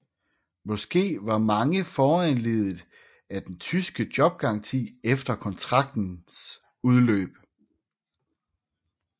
Måske var mange foranlediget af den tyske jobgaranti efter kontraktens udløb